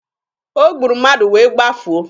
O gburu mmadụ wee gbafuo.